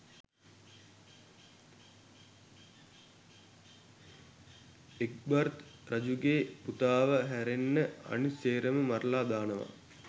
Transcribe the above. Egbert රජුගේ පුතාව හැරෙන්න අනිත සේරම මරලා දානවා